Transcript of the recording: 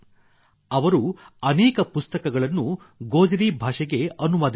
ಅವರು ಅನೇಕ ಪುಸ್ತಕಗಳನ್ನು ಗೋಜರಿ ಭಾಷೆಗೆ ಅನುವಾದಿಸಿದ್ದಾರೆ